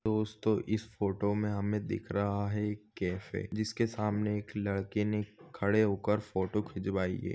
दोस्तो इस फोटो मे हमे दिख रहा है एक कॅफे जिसके सामने एक लडके ने खडे होकर फोटो खिचवायी है।